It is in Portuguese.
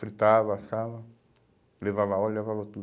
Fritava, assava, levava óleo, levava tudo.